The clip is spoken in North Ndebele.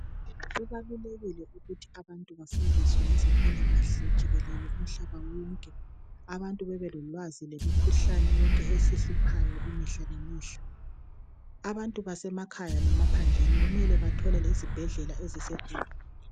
Kubalulekile ukuthi abantu bafundiswe ngezempilakahle jikelele umhlaba wonke. Abantu babelolwazi lemikhuhlane yonke esihluphayo mihla lemihla. Abantu basemakhaya lemaphandleni kumele bathole izibhedlela eziseduzane.